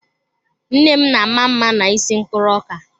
Nne m na-ama mma n'isi mkpụrụ ọka.